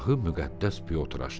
Dərgahı müqəddəs Piotr açdı.